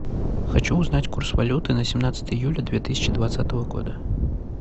хочу узнать курс валюты на семнадцатое июля две тысячи двадцатого года